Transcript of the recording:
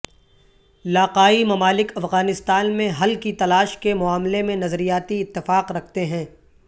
لاقائی ممالک افغانستان میں حل کی تلاش کے معاملے میں نظریاتی اتفاق رکھتے ہیں